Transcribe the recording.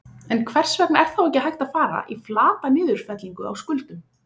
En hvers vegna er þá ekki hægt að fara í flata niðurfellingu á skuldum?